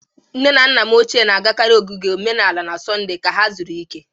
Nne na nna m ochie na-agakarị ogige omenala na Sọnde ka ha zuru ike.